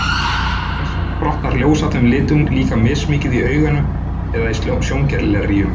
Þess vegna brotnar ljós af þessum litum líka mismikið í auganu eða í sjónglerjum.